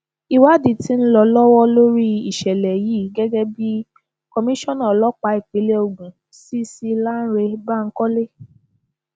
ìwádìí tí ń lọ lọwọ lórí ìṣẹlẹ yìí gẹgẹ bí komisanna ọlọpàá ìpínlẹ ogun cc lánre bankole